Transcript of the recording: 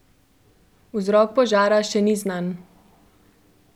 Vzrok požara še ni znan.